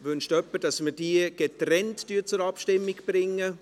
Wünscht jemand, dass wir sie getrennt zur Abstimmung bringen?